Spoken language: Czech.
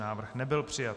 Návrh nebyl přijat.